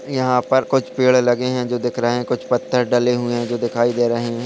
यहा पर कुछ पेड़ लगे है जो दिख रहे है कुछ पत्ते डले हुए है जो दिखाई दे रहे है।